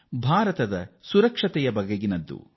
ಅದು ನಮ್ಮ ದೇಶದ ಸುರಕ್ಷತೆಯ ವಿಚಾರ